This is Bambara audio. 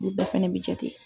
Olu bɛɛ fana bɛ jate.